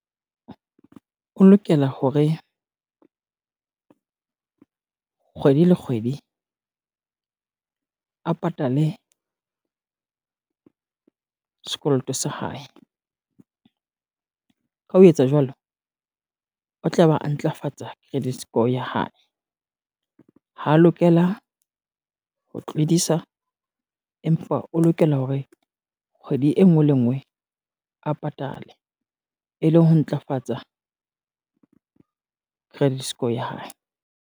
O lokela hore, kgwedi le kgwedi a patale sekoloto sa hae. Ka ho etsa jwalo, o tla ba a ntlafatsa credit score ya hae. Ha lokela ho tlodisa, empa o lokela hore kgwedi e ngwe le e ngwe a patale e leng ho ntlafatsa credit score ya hae.